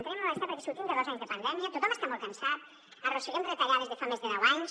entenem el malestar perquè sortim de dos anys de pandèmia tothom està molt cansat arrosseguem retallades de fa més de deu anys